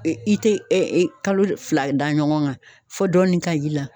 i te kalo fila da ɲɔgɔn kan fɔ dɔɔni ka y'i la